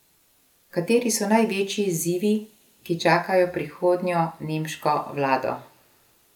Kateri so največji izzivi, ki čakajo prihodnjo nemško vlado?